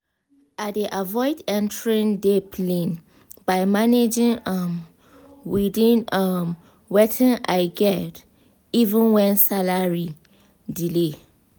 i dey avoid entering debt lane by managing um within um wetin i get even when salary delay.